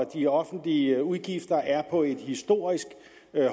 de offentlige udgifter er på et historisk